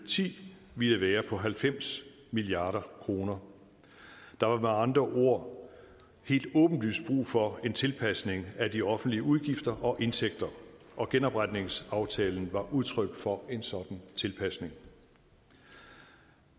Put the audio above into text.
og ti ville være på halvfems milliard kroner der var med andre ord helt åbenlyst brug for en tilpasning af de offentlige udgifter og indtægter og genopretningsaftalen var udtryk for en sådan tilpasning